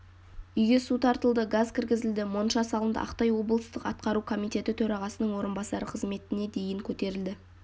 үйге су тартылды газ кіргізілді монша салынды ақтай облыстық атқару комитеті төрағасының орынбасары қызметіне дейін көтерілді